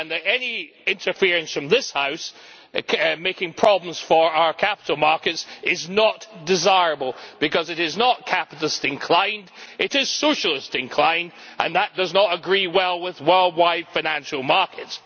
Any interference from this House, making problems for our capital markets, is not desirable because it is not capitalist inclined, it is socialist inclined, and that does not sit well with worldwide financial markets.